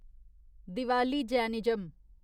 Diwali Jainism